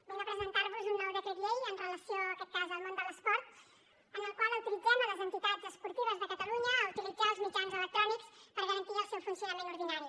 vinc a presentar vos un nou decret llei amb relació en aquest cas al món de l’esport en el qual autoritzem les entitats esportives de catalunya a utilitzar els mitjans electrònics per garantir el seu funcionament ordinari